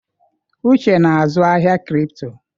Uche na-azụ ahịa cripto.